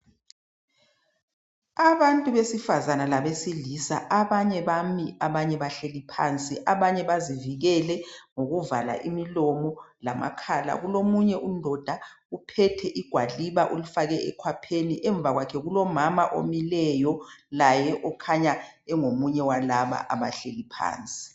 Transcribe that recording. Abantu besifazana labesilisa abanye bamile abanye bahlezi phansi abanye bazivikele ngokuvala umlomo lamakhala. Kulomunye undoda ophethe igwaliba olifake ekhwapheni. Emva kwakhe kulomama omileyo, laye okhanya engomunye walaba abahlezi phansi.